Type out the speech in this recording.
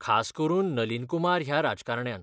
खास करून नलीन कुमार ह्या राजकारण्यान.